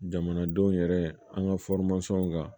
Jamanadenw yɛrɛ an ka kan